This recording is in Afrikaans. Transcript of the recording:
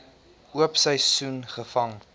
oop seisoen gevang